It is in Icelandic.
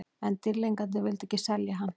En Dýrlingarnir vildu ekki selja hann.